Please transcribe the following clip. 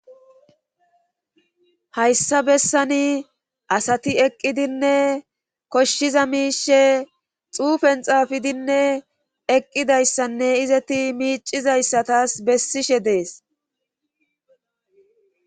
Hayssa bessani asati eqqidinne koshshiza miishe xuufen xaafidinne eqqidayssanne izeti miicizayssatas bessishe dees.